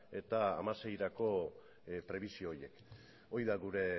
eta bi mila hamaseirako prebisio horiek hori da gure